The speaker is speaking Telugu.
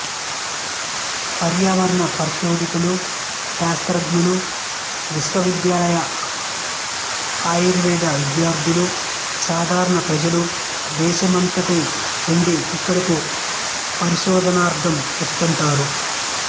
పర్యావరణ పరిశోధకులు శాస్త్రఙలు విశ్వవిద్యాలయ ఆయుర్వేద విద్యార్థులు సాధారణ ప్రజలు దేశమంతటి నుండి ఇక్కడకు పరిశోధనార్ధం వస్తుంటారు